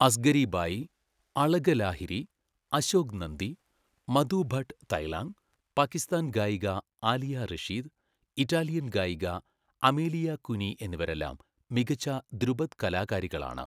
അസ്ഗരി ബായി, അളക ലാഹിരി, അശോക് നന്ദി, മധു ഭട്ട് തൈലാങ്, പാകിസ്ഥാൻ ഗായിക ആലിയ റഷീദ്, ഇറ്റാലിയൻ ഗായിക Amelia Cuni എന്നിവരെല്ലാം മികച്ച ധ്രുപദ് കലാകാരികളാണ്.